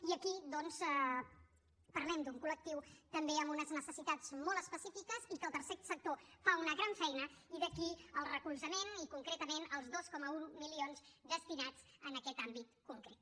i aquí doncs parlem d’un col·lectiu també amb unes necessitats molt específiques i que el tercer sector fa una gran feina i d’aquí el recolzament i concretament els dos coma un milions destinats a aquest àmbit concret